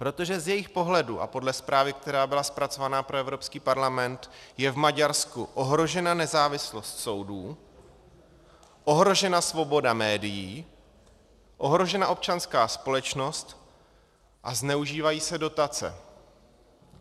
Protože z jejich pohledu a podle zprávy, která byla zpracována pro Evropský parlament, je v Maďarsku ohrožena nezávislost soudů, ohrožena svoboda médií, ohrožena občanská společnost a zneužívají se dotace.